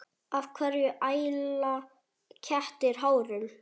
Af hverju æla kettir hárum?